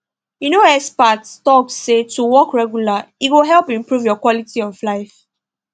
you know experts talk say to walk regular e go help improve your quality of life